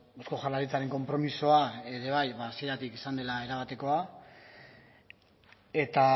eusko jaurlaritzaren konpromisoa ere bai hasieratik izan dela erabatekoa eta